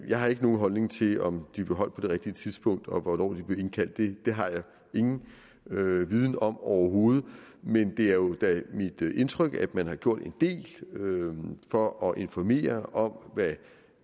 jeg har ikke nogen holdning til om de blev holdt på det rigtige tidspunkt og til hvornår der blev indkaldt til dem det har jeg ingen viden om overhovedet men det er jo da mit indtryk at man har gjort en del for at informere om hvad